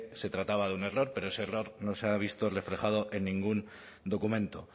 se trataba de un error pero ese error no se ha visto reflejado en ningún documento